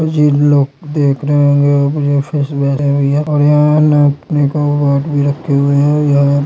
मुझे लोग देख रहे होंगे और यहा फिश वगैरा लगी हुए है और यहा नापनेका बाट भी रखे हुए है यहा पर--